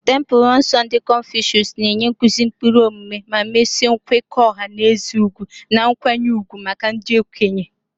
Templelọ nsọ ndị Confucius na-enye nkuzi ụkpụrụ omume ma mesie nkwekọ ọha na eze ugwu na nkwanye ùgwù maka ndị okenye.